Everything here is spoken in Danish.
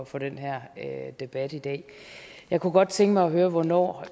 for den her debat i dag jeg kunne godt tænke mig at høre hvornår